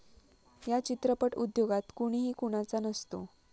या चित्रपट उद्योगात कुणीही कुणाचा नसतो.